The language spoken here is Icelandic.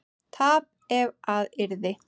tap ef að yrði